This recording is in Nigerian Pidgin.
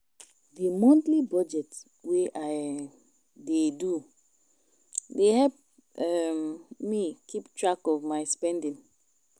The monthly budget wey I um dey do dey help um me keep track of my spending